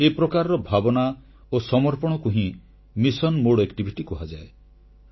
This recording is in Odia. ଏ ପ୍ରକାରର ଭାବନା ଓ ସମର୍ପଣକୁ ହିଁ ମିଶନ ଭାବନା କୁହାଯାଏ